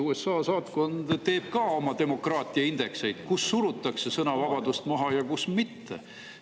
USA saatkond koostab ka oma demokraatiaindekseid selle kohta, kus surutakse sõnavabadust maha ja kus mitte.